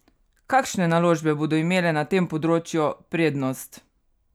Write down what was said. Kakšne naložbe bodo imele na tem področju prednost?